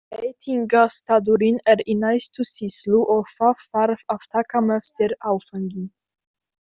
Veitingastaðurinn er í næstu sýslu og það þarf að taka með sér áfengi.